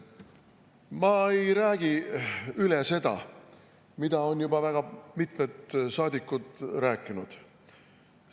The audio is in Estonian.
Ma ei räägi üle seda, mida on juba väga mitmed saadikud rääkinud.